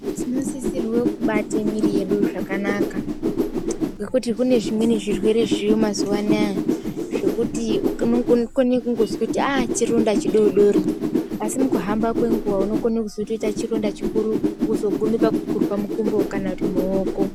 Tinosisirwe kubate mwiri yedu zvakanaka ngekuti kune zvimweni zvirwere zviriyo mazuwa anaya zvekuti unokone kungozwa kuti aa chironda chidodori asi mukuhamba kwenguwa unokona kuzotoita chironda chikuru wozoguma pakugurwa mukumbo kana kuti muoko.